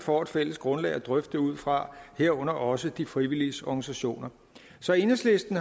får et fælles grundlag at drøfte det ud fra herunder også de frivilliges organisationer så enhedslisten